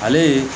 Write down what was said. Ale ye